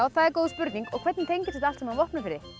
það er góð spurning og hvernig tengist þetta allt saman Vopnafirði